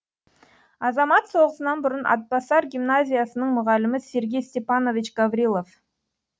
азамат соғысынан бұрын атбасар гимназиясының мұғалімі сергей степанович гаврилов